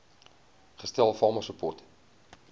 gestel farmer support